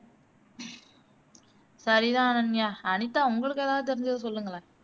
சரிதான் அனன்யா அனிதா உங்களுக்கு எதாவது தெரிஞ்சத சொல்லுங்களேன்